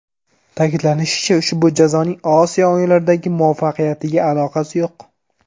Ta’kidlanishicha, ushbu jazoning Osiyo o‘yinlaridagi muvaffaqiyatiga aloqasi yo‘q.